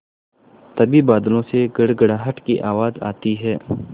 तभी बादलों से गड़गड़ाहट की आवाज़ आती है